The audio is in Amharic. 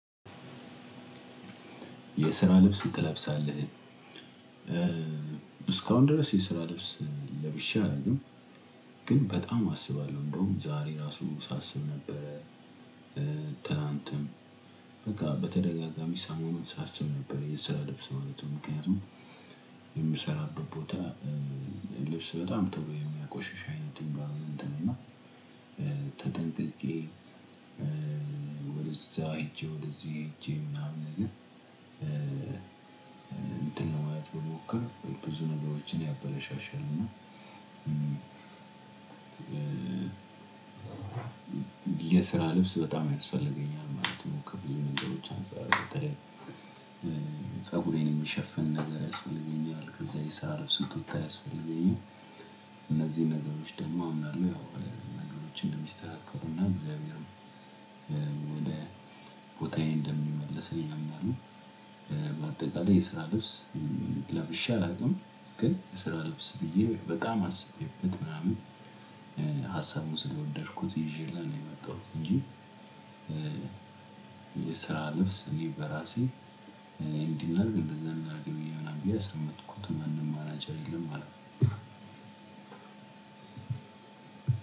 የስራ ልብስ ትለብሳለህ? እስካሁን ድረስ የስራ ልብስ ለብሸ አላውቅም ግን በጣም አስባለሁ እንደውም ዛሬ ራሱ ሳስብ ነበረ። ትናንትም በቃ በተደጋጋሚ ሰሞኑን ሳስብ ነበር የሰራ ልብስ መልበስ ምክንያቱም የምሰራበት ቦታ ልብስ በጣም የሚያቆሽሽ አይነት እንቫይሮመንት እንትን እና ተጠንቅቄ ወደዛ ሄጄ ወደዚህ ሄጄ ምናምን ነገር እንትን ለማለት ብሞክር ብዙ ነገሮችን ያበለሻሽልና የስራ ልብስ በጣም ያስፈልገኛል ማለት ነው። ከብዙ ነገሮች አንፃር በተለይ ፀጉሬን የሚሸፍን ነገር ያስፈልገኛል። ከዛ የስራ ልብስ ቁምጣ አያስፈልገኛል። እነዚህ ነገሮች ደግሞ አምናለሁ ያው ነገሮችን እንደሚስተካከሉና እግዚአብሔርም ወደ ቦታዬ እንደሚመልስም አምናለሁ። በአጠቃላይ የስራ ልብስ ለብሼ አላውቅም። ግን የስራ ልብስ ብዬ በጣም አስቤበት ምናምን ሀሳቡን ስለወደድኩት ይዤልህ ነው የመጣሁት እንጂ የስራ ልብስ እኔ በራሴ እንዲህ እናድርግ እንደዛ እናድርግ ብዬ ያስቀመትኩት ምንም አማራጭ የለም ማለት ነው።